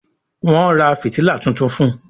Wón rà fìtílà títún fun